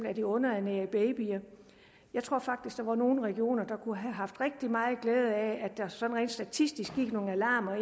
af de underernærede babyer jeg tror faktisk der var nogle regioner der kunne have haft rigtig meget glæde af at der sådan rent statistisk gik nogle alarmer